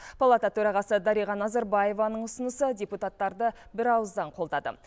палата төрағасы дариға назарбаеваның ұсынысы депутаттарды бір ауыздан қолдады